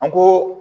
An ko